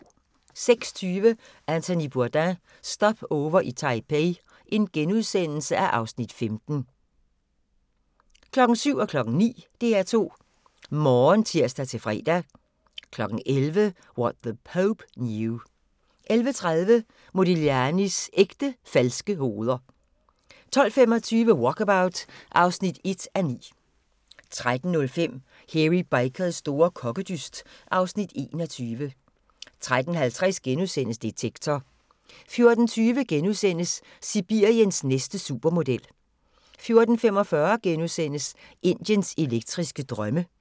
06:20: Anthony Bourdain – Stopover i Taipei (Afs. 15)* 07:00: DR2 Morgen (tir-fre) 09:00: DR2 Morgen (tir-fre) 11:00: What The Pope Knew 11:30: Modiglianis ægte falske hoveder! 12:25: Walkabout (1:9) 13:05: Hairy Bikers store kokkedyst (Afs. 21) 13:50: Detektor * 14:20: Sibiriens næste supermodel * 14:45: Indiens elektriske drømme *